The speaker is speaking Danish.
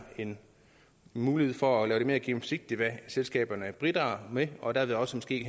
en mulighed for at lave det mere gennemsigtigt hvad selskaberne bidrager med og derved også måske